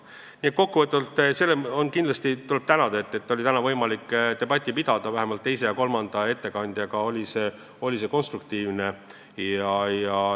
Nii et kokku võttes tuleb tänada selle eest, et täna oli võimalik sellist debatti pidada, vähemalt teise ja kolmanda ettekandjaga oli see konstruktiivne.